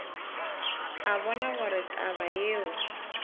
a bona gore taba yeo